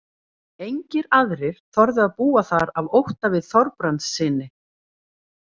Engir aðrir þorðu að búa þar af ótta við Þorbrandssyni.